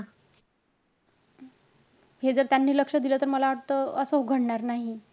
हे जर त्यांनी लक्ष दिलं तर, मला वाटतं असं घडणार नाही.